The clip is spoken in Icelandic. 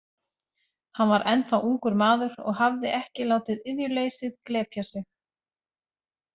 Hann var ennþá ungur maður og hafði ekki látið iðjuleysið glepja sig.